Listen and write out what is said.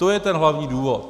To je ten hlavní důvod.